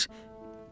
Ağrıyır.